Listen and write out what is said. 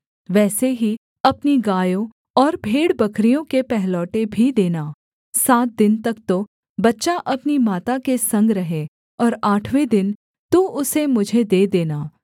वैसे ही अपनी गायों और भेड़बकरियों के पहलौठे भी देना सात दिन तक तो बच्चा अपनी माता के संग रहे और आठवें दिन तू उसे मुझे दे देना